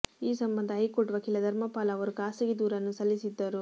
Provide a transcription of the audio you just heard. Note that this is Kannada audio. ಈ ಸಂಬಂಧ ಹೈಕೋರ್ಟ್ ವಕೀಲ ಧರ್ಮಪಾಲ್ ಅವರು ಖಾಸಗಿ ದೂರನ್ನು ಸಲ್ಲಿಸಿದ್ದರು